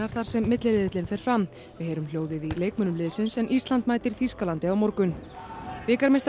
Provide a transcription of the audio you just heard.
þar sem milliriðillinn fer fram við heyrum hljóðið í leikmönnum liðsins en Ísland mætir Þýskalandi á morgun bikarmeistarar